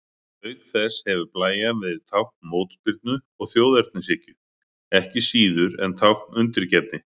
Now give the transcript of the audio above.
Auk þess hefur blæjan verið tákn mótspyrnu og þjóðernishyggju, ekki síður en tákn undirgefni.